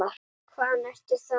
Þeir láta svona þessir karlar.